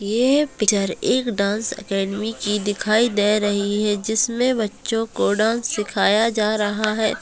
ये पिक्चर एक dance academy की दिखाई दे रही है जिसमें बच्चो को डांस सिखाया जा रहा है |